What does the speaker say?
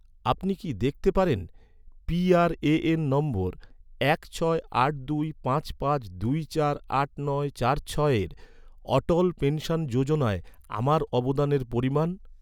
আপনি কি দেখতে পারেন, পিআরএএন নম্বর এক ছয় আট দুই পাঁচ পাঁচ দুই চার আট নয় চার ছয়ে অটল পেনশন যোজনায়, আমার অবদানের পরিমাণ?